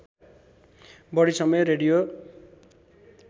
बढी समय रेडियो